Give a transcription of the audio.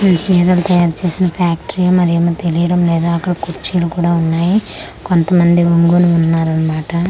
ఇది సీరలు తయారు చేసిన ఫ్యాక్టరీ మరేమో తెలియడం లేదు అక్కడ కుర్చీలు కూడా ఉన్నాయి కొంతమంది ఒంగొని ఉన్నారన్మాట.